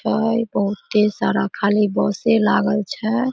छै बहुते सारा खाली बसे लागल छै।